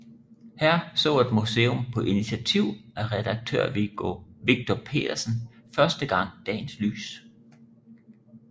Her så et museum på initiativ af redaktør Victor Pedersen første gang dagens lys